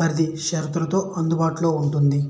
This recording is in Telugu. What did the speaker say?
పరిధి షరతులతో అందుబాటులో ఉంది